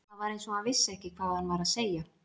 Það var eins og hann vissi ekki hvað hann var að segja.